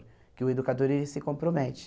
Porque o educador, ele se compromete.